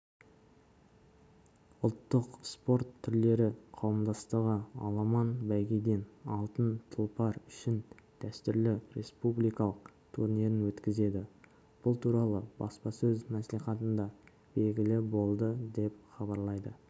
ұлттық спорт түрлері қауымдастығы аламан бәйгеден алтын тұлпар үшінші дәстүрлі республикалық турнирін өткізеді бұл туралы баспасөз мәслихатында белгілі болды деп хабарлайды